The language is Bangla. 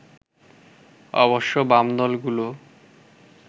অবশ্য বাম দলগুলো